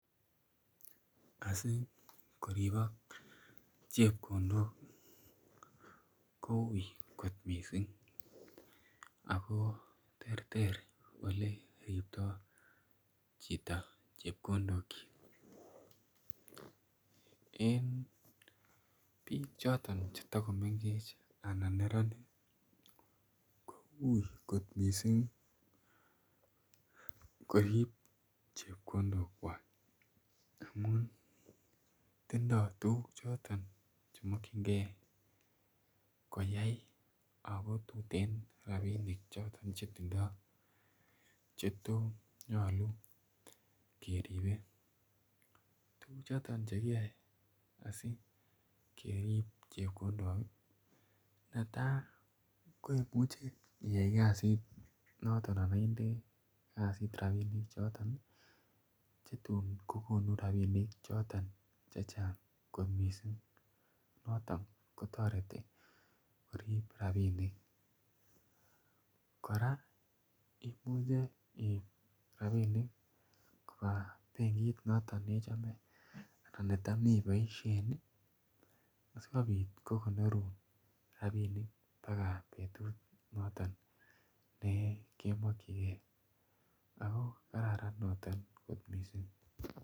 Asikoribok chepkondok koui kot mising ako ter ter oleriptoi chito chepkondokchi en biik choton chetokomengech anan neranik koui kot mising korip chepkondok kwach amun tindoi tukuk choton chemakchinigei koyai ako tuten ropinik choton chetindoi chetos nyolu keripei tukuk choton chekiyae asikerip chepkondok netai koimuchi iyai kasit noton anan inde kasit ropinik choton chetun kokonu ropinik choton che chang kot missing noton kotoreti korip rapinik kora imuche iip ropinik koba benkit noton nichome ana necham iboishen asikobit kokonorun ropinik mpaka betut noton nekemokchigei ako kararan noton kot mising.